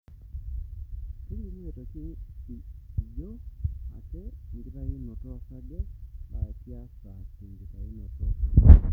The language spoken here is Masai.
Kelimu aitoki ijo ake enkitayunoto osarge laa kiasa tenkitayunoto ekewon.